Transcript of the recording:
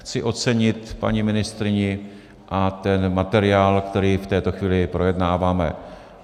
Chci ocenit paní ministryni a ten materiál, který v této chvíli projednáváme.